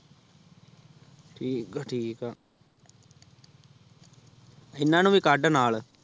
ਠੀਕ ਆ ਠੀਕ ਆ ਇਹਨਾਂ ਨੂੰ ਵੀ ਕੱਢ ਨਾਲ਼।